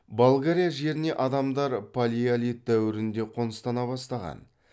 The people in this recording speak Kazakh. болгария жеріне адамдар палеолит дәуірінде қоныстана бастаған